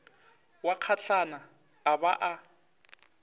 wa kgatlana a ba a